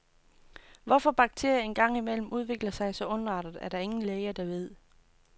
Hvorfor bakterierne en gang imellem udvikler sig så ondartet, er der ingen læger, der ved.